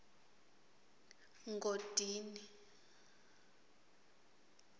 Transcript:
ngodini